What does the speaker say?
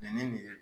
Nin nin